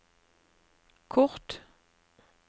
kort